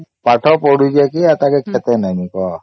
ସେ ପାଠ ପଢି ଯାଇଛେ ଏଟା କେ ଖେତେ ନାମୀ କା